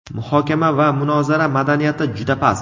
Muhokama va munozara madaniyati juda past.